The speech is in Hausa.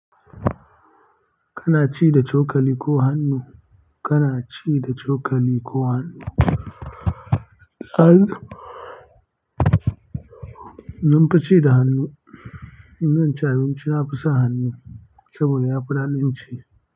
Kana ci da chokali ko hannu? Kana ci da chokali ko hannu, hannu mun fi ci da hannu, in zan ci abinci nafi sa hannu saboda yafi daɗin ci.